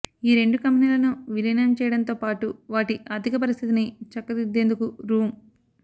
ఈ రెండు కంపెనీలను విలీనం చేయడంతో పాటు వాటి ఆర్థిక పరిస్థితిని చక్కదిద్దేందుకు రూ